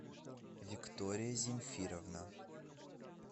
виктория земфировна